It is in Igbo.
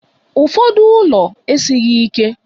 Ụfọdụ ụlọ esighị ike.